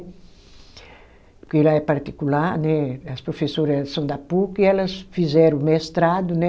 Porque lá é particular né, as professora são da puc e elas fizeram mestrado, né?